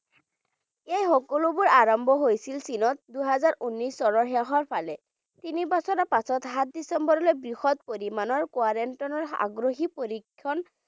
এই সকলোবোৰ আৰম্ভ হৈছিল চীনত দুহেজাৰ উনৈছ চনৰ শেষৰ ফালে তিনি বছৰৰ পিছত সাত ডিচেম্বৰলৈ বৃহৎ পৰিমাণৰ quarantine ৰ আগ্ৰহী পৰিক্ষণ